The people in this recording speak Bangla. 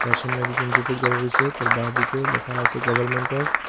তার সামনে দুজন যুবক দাঁড়াই রয়েছে তার বাঁদিকে লেখা আছে গভারমেন্ট অফ --